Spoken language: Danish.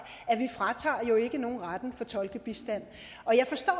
at nogen retten til tolkebistand jeg forstår